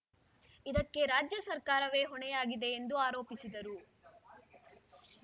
ಇದಕ್ಕೆ ರಾಜ್ಯ ಸರ್ಕಾರವೇ ಹೊಣೆಯಾಗಿದೆ ಎಂದು ಆರೋಪಿಸಿದರು